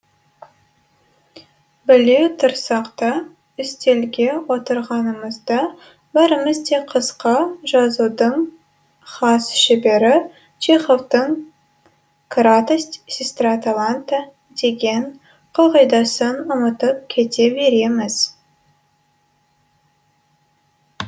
біле тұрсақ та үстелге отырғанымызда бәріміз де қысқа жазудың хас шебері чеховтың кратость сестра таланта деген қағидасын ұмытып кете береміз